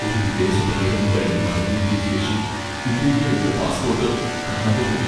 ഒരു വിദേശ പര്യടനം കഴിഞ്ഞ് മടങ്ങിയെത്തിയ ശേഷം ഇന്ത്യയിലെ എന്റെ പാസ്പോട്ട് കാണാതെപോയി.